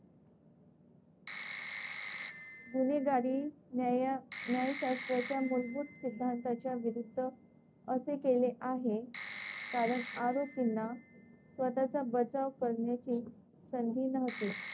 गुन्हेगारी न्याया न्यायशास्त्राच्या मूलभूत सिद्धांताच्या विरुद्ध असे केले आहे कारण आरोपींना स्वतःचा बचाव करण्याची संधी नव्हती.